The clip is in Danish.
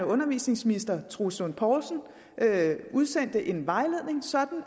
undervisningsminister herre troels lund poulsen udsendte en vejledning sådan